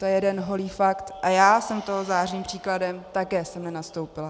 To je jeden holý fakt a já jsem toho zářným příkladem, také jsem nenastoupila.